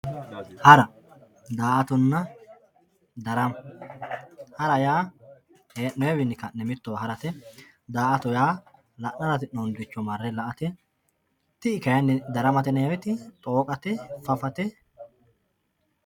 hara daa"atonna darama hara yaa heenoyii wiini kanne mittowa harate daa"to yaa la'nara hasi'nooniricho mare la"ate ti"i kayiini daramate yinayiiwote dhooqate, fafate.